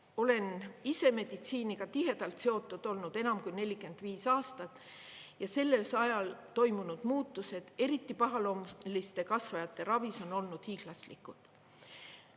Olen ise meditsiiniga tihedalt seotud olnud enam kui 45 aastat ja sellel ajal toimunud muutused, eriti pahaloomuliste kasvajate ravis, on olnud hiiglaslikud.